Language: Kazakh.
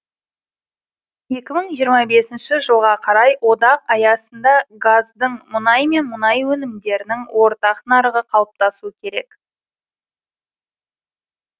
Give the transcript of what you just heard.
екі мың жиырма бесінші жылға қарай одақ аясында газдың мұнай мен мұнай өнімдерінің ортақ нарығы қалыптасу керек